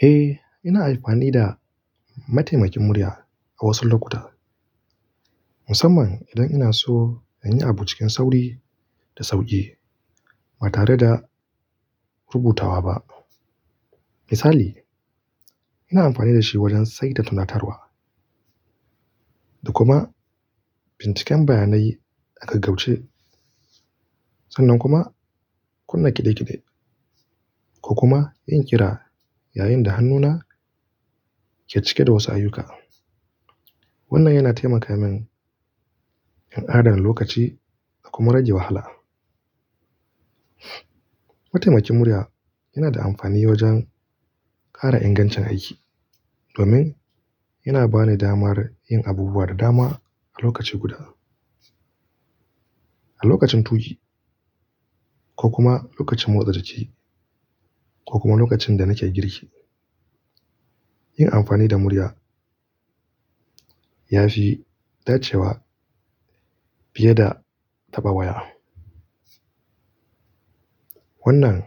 Eh, ina amfani da mataimakin murya a wasu lokuta, musamman idan ina so in yi abu cikin sauri da sauƙi ba tare da rubutawa ba. Misali, ina amfani da shi wajen saida tunatarwa da kuma binciken bayanai aka gagauce, sannan kuma kunna ƙidankidai ko kuma yin ƙira yayin da hannuna ke cike da wasu ayyuka. Wannan yana taimaka min in adana lokaci da kuma rage wahala. Mataimakin murya yana da amfani wajen ƙara ingancin aiki domin yana bani damar yin abubuwa da dama a lokaci guda. A lokacin tuki ko kuma lokacin motsa jiki ko kuma lokacin da nake girki. Yin amfani da murya ya fi dacewa fiye da taɓa waya. Wannan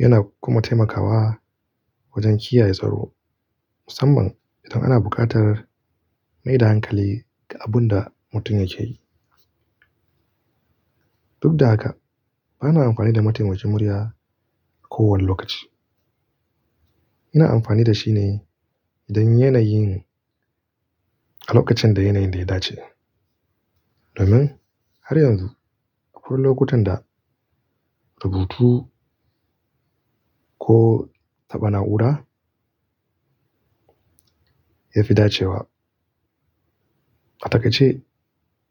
yana kuma taimakawa wajen kiyaye tsaro, musamman idan ana buƙatar mai da hankali ga abun da mutum yake yi. Duk da haka, bana amfani da mataimakin murya kowane lokaci. Ina amfani da shi ne idan yanayin a lokacin da yanayin da ya dace. Domin har yanzu akwai lokutan da rubutu ko taɓa na'ura ya fi dacewa. A take ce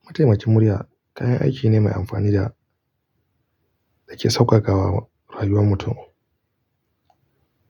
mataimakin murya kayan aiki ne mai amfani da yake sauƙaƙawa rayuwar mutum.